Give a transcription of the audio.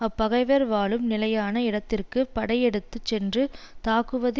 அப்பகைவர் வாழும் நிலையான இடத்திற்கு படையெடுத்து சென்று தாக்குவது